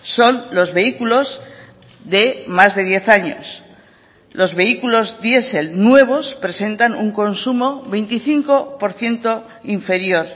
son los vehículos de más de diez años los vehículos diesel nuevos presentan un consumo veinticinco por ciento inferior